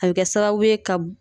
A be sababu ye ka